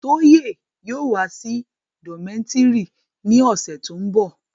Toye yóò wa si dometiri ni ọsẹ to nbọ